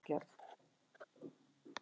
Matarást: Alfræðibók um mat og matargerð.